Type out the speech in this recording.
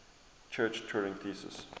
church turing thesis